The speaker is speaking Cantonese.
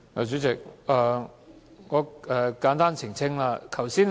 主席，我簡單作出澄清。